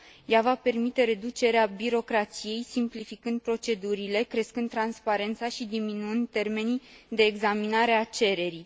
Ea va permite reducerea birocrației, simplificând procedurile, crescând transparența și diminuând termenii de examinare a cererii.